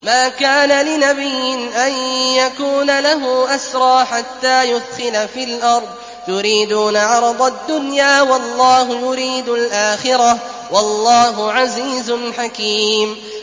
مَا كَانَ لِنَبِيٍّ أَن يَكُونَ لَهُ أَسْرَىٰ حَتَّىٰ يُثْخِنَ فِي الْأَرْضِ ۚ تُرِيدُونَ عَرَضَ الدُّنْيَا وَاللَّهُ يُرِيدُ الْآخِرَةَ ۗ وَاللَّهُ عَزِيزٌ حَكِيمٌ